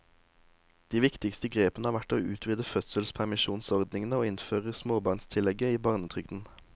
De viktigste grepene har vært å utvide fødselspermisjonsordningene og innføre småbarnstillegget i barnetrygden.